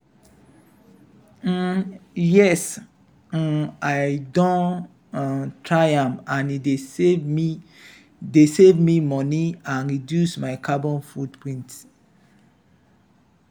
um yes um i don um try am and e dey save me dey save me money and reduce my carbon footprint.